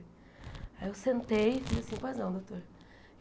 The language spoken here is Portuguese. Aí eu sentei e disse assim, pois não, doutor.